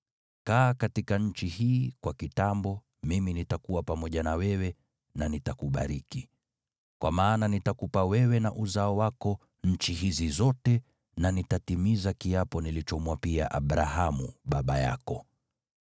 Kaa katika nchi hii kwa kitambo, mimi nitakuwa pamoja na wewe na nitakubariki. Kwa maana nitakupa wewe na uzao wako nchi hizi zote na nitatimiza kiapo nilichomwapia Abrahamu baba yako.